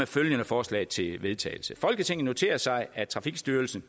følgende forslag til vedtagelse folketinget noterer sig at trafikstyrelsen